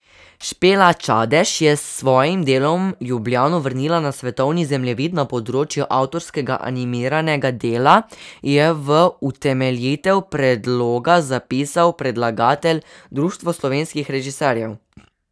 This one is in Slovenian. Špela Čadež je s svojim delom Ljubljano vrnila na svetovni zemljevid na področju avtorskega animiranega dela, je v utemeljitev predloga zapisal predlagatelj, Društvo slovenskih režiserjev.